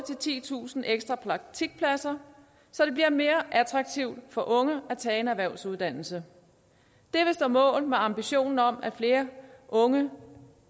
titusind ekstra praktikpladser så det bliver mere attraktivt for unge at tage en erhvervsuddannelse det vil stå mål med ambitionen om at flere unge